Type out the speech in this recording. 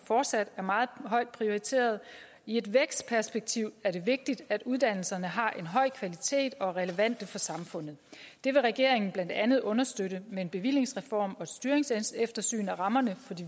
fortsat er meget højt prioriteret i et vækstperspektiv er det vigtigt at uddannelserne har en høj kvalitet og er relevante for samfundet det vil regeringen blandt andet understøtte med en bevillingsreform og et styringseftersyn af rammerne for de